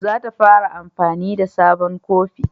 Za ta fara amfani na da sabon kofi